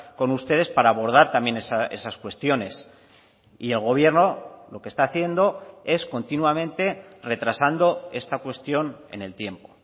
con ustedes para abordar también esas cuestiones y el gobierno lo que está haciendo es continuamente retrasando esta cuestión en el tiempo